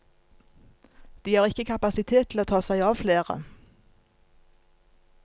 De har ikke kapasitet til å ta seg av flere.